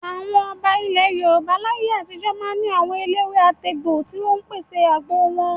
Àwọn ọba ilẹ̀ Yorùbá láyé àtijó máa ń ní àwọn eléwé-àtegbò tí ó máa ń pèsè àgbo wọn.